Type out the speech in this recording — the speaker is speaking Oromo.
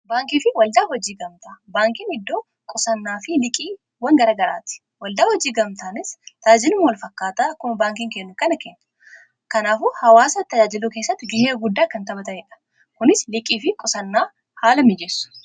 Baankii fi waldaa hojii gamtaa. Baankiin iddoo qusannaa fi liqiiwwan garagaraati. Waldaan hojii gamtaanis tajaajiluuma wal fakkaataa akkuma baankiin kennu kana kenna. Kanaafuu hawwaasa tajaajilu keessatti gahee guddaa kan taphatanii dha. Kunis liqii fi qusannaa haala mijeessu.